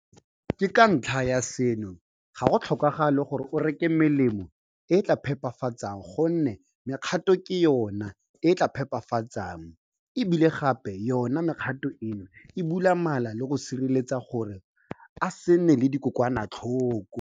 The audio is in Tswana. Ka ntlha ya seno, ga go tlhokagale gore o reke melemo e e tla e phepafatsang gonne mekgato ke yona e e tla e phepafatsang, e bile gape yona mekgato eno e bula mala le go a sireletsa gore a se nne le dikokwanatlhoko.